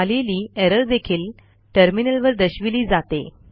आलेली एरर देखील टर्मिनलवर दर्शविली जाते